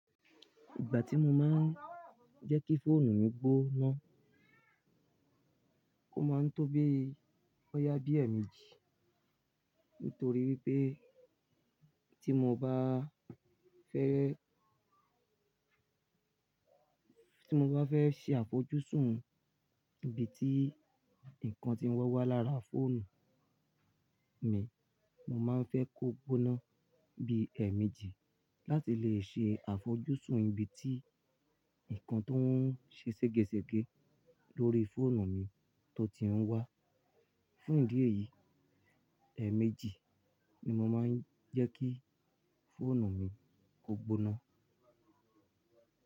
Ìgbà tí mo máa ń jẹ́ kí fóònù mi gbóná, ó máa ń tó bí bọ̀ya bí ẹ̀ẹ̀méjì. Nítorí wípé tí mo bá a fẹ́, tí mo bá fẹ́ ṣe àfojúsùn ibi tí ǹkan ti ń wọ́ wá lára fóònù mi, mo máa ń fẹ́ kó gbóná bí ẹ̀ẹ̀méjì láti lè ṣe àfojúsùn ibi tí ǹkan tó ń ṣe sẹ́gẹ́sẹ́gẹ́ lórí fóònù mi tó ti ń wá. Fún ìdí èyí, ẹ̀ẹ̀méjì ni mo máa ń jẹ́ kí fóònù mi kó gbóná.